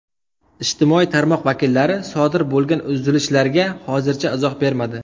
Ijtimoiy tarmoq vakillari sodir bo‘lgan uzilishlarga hozircha izoh bermadi.